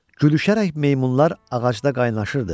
Gülüşərək meymunlar ağacda qaynaşırdı.